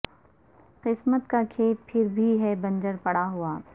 قسمت کا کھیت پھر بھی ہے بنجر پڑا ہوا